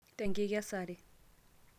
te enkikesare